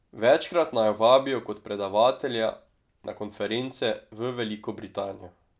Večkrat naju vabijo kot predavatelja na konference v Veliko Britanijo.